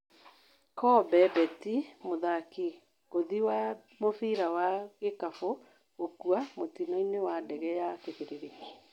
Kobe bĩanti mũthaki ngũthi wa mũbira wa gĩkabũ gũkua mũtinoinĩ wa dege ya kibĩrĩrĩki